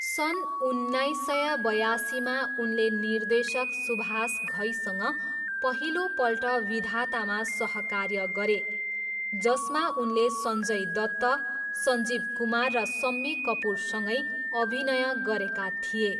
सन् उन्नाइस सय बयासीमा उनले निर्देशक सुभाष घईसँग पहिलोपल्ट विधातामा सहकार्य गरे, जसमा उनले सञ्जय दत्त, सञ्जीव कुमार र सम्मी कपुरसँगै अभिनय गरेका थिए।